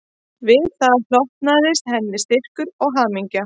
Við það hlotnaðist henni styrkur og hamingja